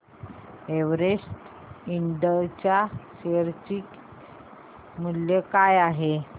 Everest इंड च्या share चे मूल्य काय आहे